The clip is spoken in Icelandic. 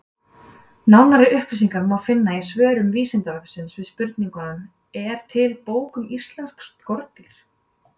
Nánari upplýsingar má finna í svörum Vísindavefsins við spurningunum: Er til bók um íslensk skordýr?